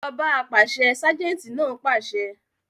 Lọ ọ́ bá apàṣẹ! ságẹ́ńtì náà pàṣẹ.